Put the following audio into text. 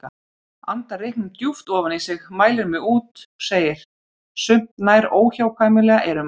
Andar reyknum djúpt ofan í sig, mælir mig út, segir: Sumt nær óhjákvæmilega eyrum manns.